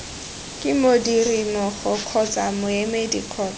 ke modirimmogo kgotsa moemedi kgotsa